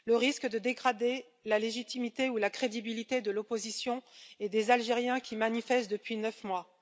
le risque de dégrader la légitimité ou la crédibilité de l'opposition et des Algériens qui manifestent depuis neuf mois